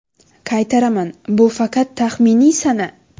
Qaytaraman, bu faqat taxminiy sana.